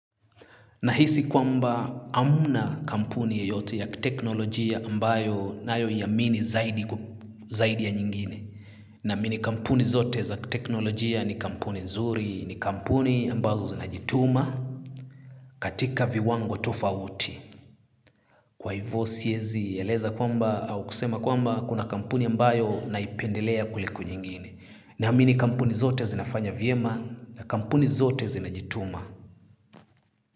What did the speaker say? Nahisi kwamba hamna kampuni yoyote ya teknolojia ambayo nayoiamini zaidi ya nyingine. Namini kampuni zote za teknolojia ni kampuni nzuri, ni kampuni ambazo zinajituma katika viwango tofauti. Kwa hivyo siezi ya eleza kwamba au kusema kwamba kuna kampuni ambayo naipendelea kuliko nyingine. Namini kampuni zote zinafanya vyema na kampuni zote zinajituma.